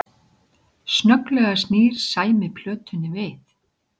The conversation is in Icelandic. Snögglega snýr Sæmi plötunni við